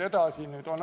Aitäh!